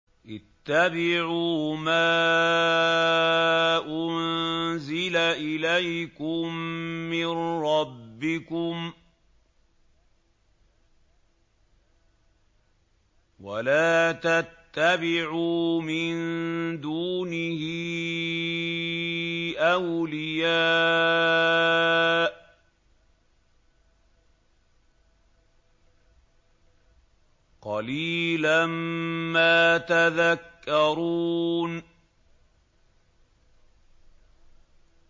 اتَّبِعُوا مَا أُنزِلَ إِلَيْكُم مِّن رَّبِّكُمْ وَلَا تَتَّبِعُوا مِن دُونِهِ أَوْلِيَاءَ ۗ قَلِيلًا مَّا تَذَكَّرُونَ